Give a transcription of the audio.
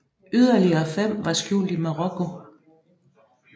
Yderligere fem var skjult i Marokko